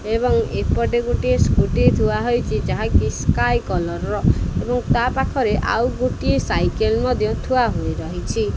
ଏବଂ ଏପଟେ ଗୋଟିଏ ସ୍କୁଟି ଥୁଆ ହୋଇଚି ଯାହାକି ସ୍କାଏ କଲର୍ ର ଏବଂ ତା ପାଖରେ ଆଉ ଗୋଟିଏ ସାଇକେଲ ମଧ୍ୟ ଥୁଆ ହୋଇ ରହିଚି।